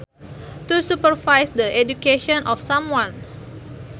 to supervise the education of someone